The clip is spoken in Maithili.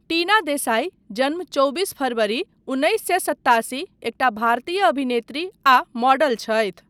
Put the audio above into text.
टिना देसाइ, जन्म चौबिस फरवरी उन्नैस सए सत्तासी, एकटा भारतीय अभिनेत्री आ मॉडल छथि।